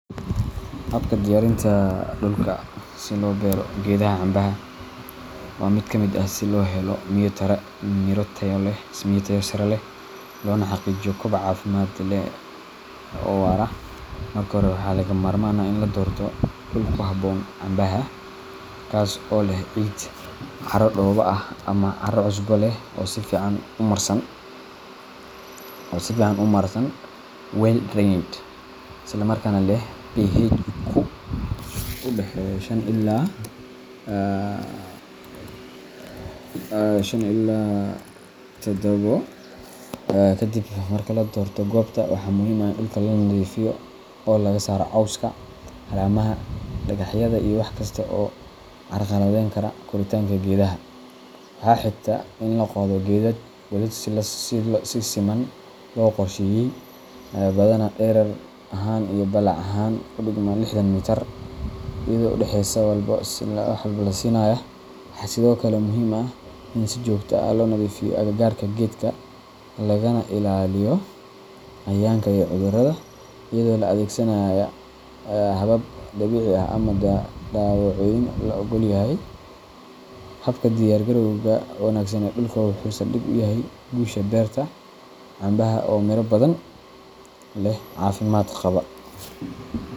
Habakan diyarinta dulka si lo beeroh keetha cambaha, wa lamit aah si loheloh keet taya keeh iyo miira Taya leeh lona xaqiijiyoh kobaca cafimdkaa oo war aah, marka hori laga marmaan aah ini la doortoh dul kuhaboon cambaha taso oo leeh xata dooba leeh cara cusba leeh oo sufican u marsan well drainage handa leeh u daxeeyoh Shan ila tadobo kadib marki ladiirtoh koobta waxa muhim aah dulka lanatheefeyohoo lagasaroh cowsaka calemaha dafaxyada iyo waxkastabo carqalatheykaloh koritanga geethaha waxa heegtah ini laqothih keethat si siman lo qirsheeyey ee bathana dheerar ahaan iyoh bilac ahaan leexdan meetar eyado u daxeeysoh, si walba wax walba lasinayoh waxa sethokali muhim aah in si jokta lonatheefiyoh aka kaarga keetga laga na ilaliyoh cayayanga yaryar oo cudurada eyado la athgsanayah habab dabici aah amah dawooyin la oglyahay habakan diyarkarowga wanagsan kuusha beerta oo Mira bathan cafimd qabah